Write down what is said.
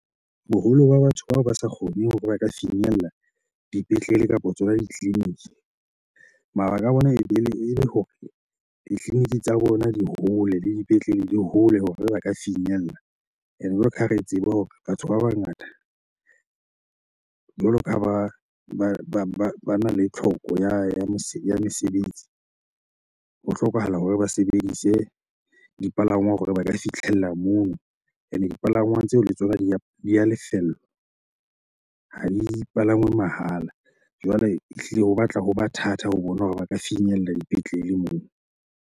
Boholo ba batho bao ba sa kgoneng hore ba ka finyella dipetlele kapa tsona ditleliniki, mabaka a bona ebe e le hore ditleliniki tsa bona di hole le dipetlele di hole hore ba ka finyella. Ene jwalo ka ha re tseba hore batho ba bangata jwalo ka ha bana le tlhoko ya mesebetsi, ho hlokahala hore ba sebedise dipalangwang hore ba ka fitlhella moo. Ene dipalangwang tseo le tsona di a lefellwa ha di palangwe mahala. Jwale ehlile ho batla hoba thata ho bona hore ba ka finyella dipetlele moo.